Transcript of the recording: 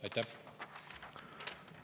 Aitäh!